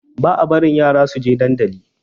Ba a barin yara suje dandali